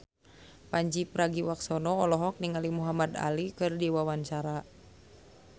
Pandji Pragiwaksono olohok ningali Muhamad Ali keur diwawancara